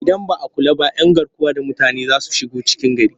Idan ba a kula ba 'yan garkuwa da mutane za su shigo cikin gari